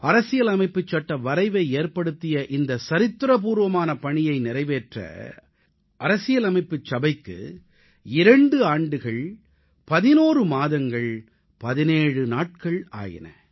அரசியலமைப்புச் சட்ட வரைவை ஏற்படுத்திய இந்த சரித்திரபூர்வமான பணியை நிறைவேற்ற அரசியலமைப்புச் சபைக்கு 2 ஆண்டுகள் 11 மாதங்கள் 17 நாட்கள் ஆயின